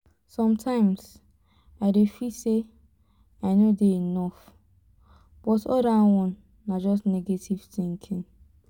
sometimes i dey feel say i no dey enough but all dat one na just negative thinking